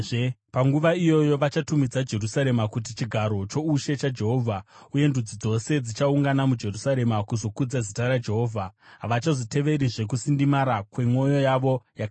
Panguva iyoyo vachatumidza Jerusarema kuti Chigaro choUshe chaJehovha, uye ndudzi dzose dzichaungana muJerusarema kuzokudza zita raJehovha. Havachazoteverizve kusindimara kwemwoyo yavo yakaipa.